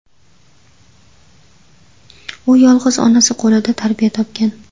U yolg‘iz onasi qo‘lida tarbiya topgan.